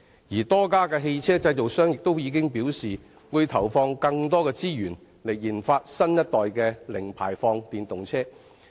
而多間汽車製造商亦已表示，會投放更多資源研發新一代的零排放電動車。